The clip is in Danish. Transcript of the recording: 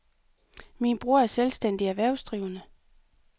Min bror er selvstændig erhvervsdrivende.